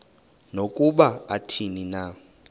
nokuba athini na